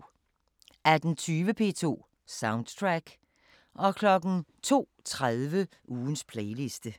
18:20: P2 Soundtrack 02:30: Ugens playliste